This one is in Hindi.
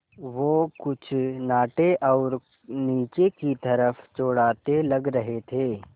वो कुछ नाटे और नीचे की तरफ़ चौड़ाते लग रहे थे